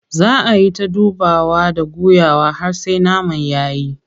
Zaa ayi ta dubawa and guyawa har sai naman yayi.